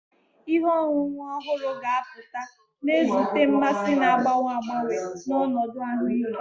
Ihe ọṅụṅụ ọhụrụ ga-apụta, na-ezute mmasị na-agbanwe agbanwe na ọnọdụ ahụike.